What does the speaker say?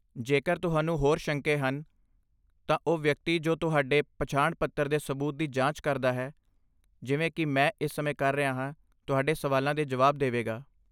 ਜੇਕਰ ਤੁਹਾਨੂੰ ਹੋਰ ਸ਼ੰਕੇ ਹਨ, ਤਾਂ ਉਹ ਵਿਅਕਤੀ ਜੋ ਤੁਹਾਡੇ ਪਛਾਣ ਦੇ ਸਬੂਤ ਦੀ ਜਾਂਚ ਕਰਦਾ ਹੈ, ਜਿਵੇਂ ਕਿ ਮੈਂ ਇਸ ਸਮੇਂ ਕਰ ਰਿਹਾ ਹਾਂ, ਤੁਹਾਡੇ ਸਵਾਲਾਂ ਦੇ ਜਵਾਬ ਦੇਵੇਗਾ।